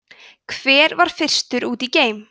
hver var fyrstur út í geim